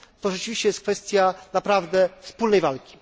To rzeczywiście jest kwestia naprawdę wspólnej walki.